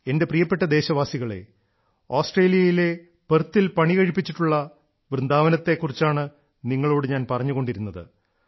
എന്റെ പ്രിയപ്പെട്ട ദേശവാസികളേ ഓസ്ട്രേലിയയിലെ പെർത്തിൽ പണികഴിപ്പിച്ചിട്ടുള്ള വൃന്ദാവനത്തെ കുറിച്ചാണ് നിങ്ങളോട് ഞാൻ പറഞ്ഞുകൊണ്ടിരുന്നത്